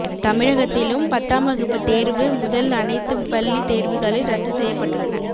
தமிழகத்திலும் பத்தாம் வகுப்பு தேர்வு முதல் அனைத்து பள்ளி தேர்வுகளில் ரத்து செய்யப்பட்டுள்ளன